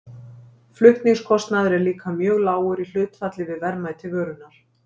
Flutningskostnaður er líka mjög lágur í hlutfalli við verðmæti vörunnar.